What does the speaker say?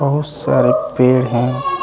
बहुत सारे पेड़ हैं।